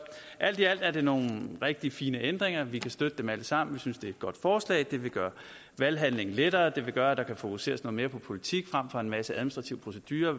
alt i alt er det nogle rigtig fine ændringer og vi kan støtte dem alle sammen vi synes det er et godt forslag det vil gøre valghandlingen lettere og det vil gøre at der kan fokuseres noget mere på politik frem for på en masse administrativ procedure